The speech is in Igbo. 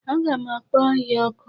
Aga m akpo ohia oku.